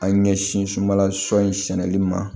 An ɲɛsin sunbala sɔ in sɛnɛli ma